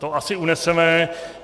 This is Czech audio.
To asi uneseme.